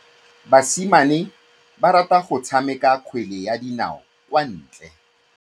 Basimane ba rata go tshameka kgwele ya dinaô kwa ntle.